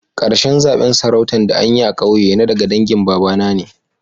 Karshen zaben sarautan da anyi a'ƙauye na daga dangin baba na ne.